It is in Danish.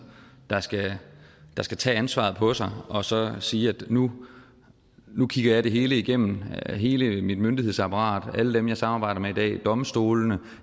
der skal der skal tage ansvaret på sig og så sige at nu nu kigger jeg det hele igennem hele mit myndighedsapparat alle dem jeg samarbejder med i dag domstolene